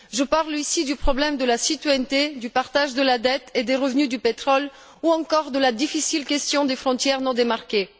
Je parle ici du problème de la citoyenneté, du partage de la dette et des revenus du pétrole ou encore de la difficile question des frontières non délimitées.